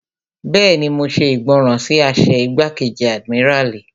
Bẹ́ẹ̀ni, mo ṣe ìgbọràn sí àṣẹ igbákejì àdìmíràlí